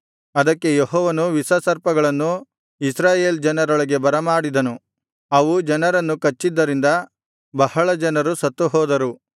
ಅದಕ್ಕೆ ಯೆಹೋವನು ವಿಷಸರ್ಪಗಳನ್ನು ಇಸ್ರಾಯೇಲ್ ಜನರೊಳಗೆ ಬರಮಾಡಿದನು ಅವು ಜನರನ್ನು ಕಚ್ಚಿದ್ದರಿಂದ ಬಹಳಜನರು ಸತ್ತುಹೋದರು